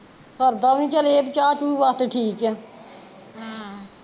ਸਰਦਾ ਵੀ ਨੀ ਵੀ ਚੱਲ ਏਹ ਵੀ ਚਾਹ ਚੁ ਵਾਸਤੇ ਠੀਕ ਆ ਆਹ